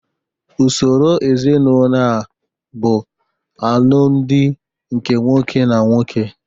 Usoro ezinaụlọ a bụ alụmdi nke nwoke na nwoke